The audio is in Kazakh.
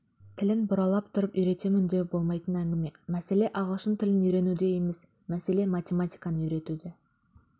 тілін бұрап тұрып үйретемін деу болмайтын әңгіме мәселе ағылшын тілін үйренуде емес мәселе математиканы үйретуде